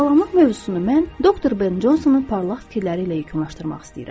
Sağlamlıq mövzusunu mən doktor Ben Consonun parlaq fikirləri ilə yekunlaşdırmaq istəyirəm.